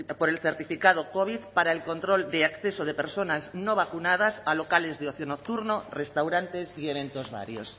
por el certificado covid para el control de acceso de personas no vacunadas a locales de ocio nocturno restaurantes y eventos varios